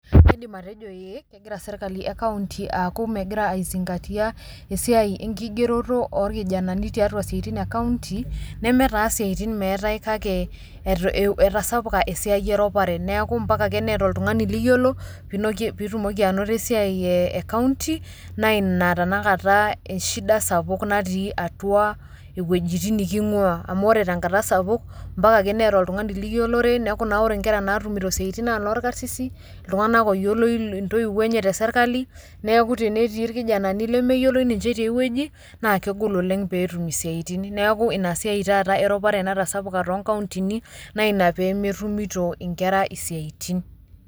Kidim atejo ee kegira sirkali ekaunti aaku megira aisingatia esiai enkigeroto orkijanani tiatua siatin ekaunti nemee taaa esiaitin meatae kake etasapuka esia eropare ,naaku ompaka ake nieta oltungani niyolo piitumoki anoto eiai ekaunti naa tenakata eshida sapuk natii atua ewejitin niking'ua amu ore tenkata sapuk mpaka ake nieta oltungani niyolore, naaku naa ore naa nkera natumito siatin naa noo orkasisin. ltunganak oyioloi ntoiwo enye te sirkali, neaku tenetii ilkijanani lemeyioloi ninche te ewueji naa kegol oleng peetum siatin. Naaku ina siai taata eropare natasapuk too nkauntini, naa ina peemetumito inkera siatin.